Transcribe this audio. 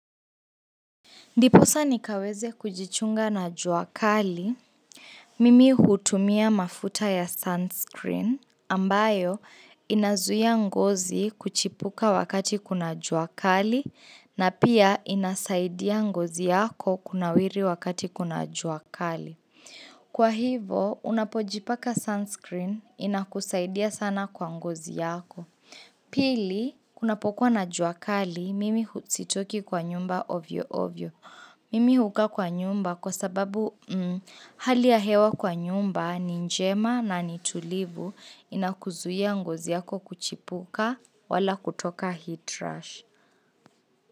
Ndiposa nikaweze kujichunga na jua kali, mimi hutumia mafuta ya sunscreen ambayo inazuia ngozi kuchipuka wakati kuna jua kali na pia inasaidia ngozi yako kunawiri wakati kuna jua kali. Kwa hivo, unapojipaka sunscreen inakusaidia sana kwa ngozi yako. Pili, kunapokuwa na jua kali, mimi sitoki kwa nyumba ovyo ovyo. Mimi hukaa kwa nyumba kwa sababu hali ya hewa kwa nyumba ni njema na ni tulivu inakuzuia ngozi yako kuchipuka wala kutoka heat rush.